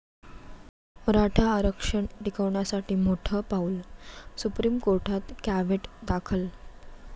मराठा आरक्षण टिकवण्यासाठी मोठं पाऊल, सुप्रीम कोर्टात कॅव्हेट दाखल